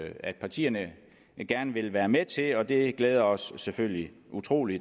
partierne gerne vil være med til det og det glæder os selvfølgelig utrolig